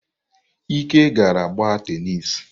Ike agaala gbaa tenis.